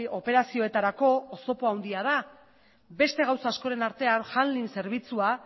operazioetarako oztopo handia da beste gauza askoren artean handling zerbitzua